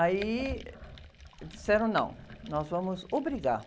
Aí disseram, não, nós vamos obrigar.